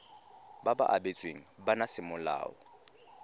ba ba abetsweng bana semolao